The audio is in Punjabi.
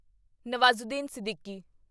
ਨਵਾਜ਼ੂਦੀਨ ਸਿੱਦੀਕੀ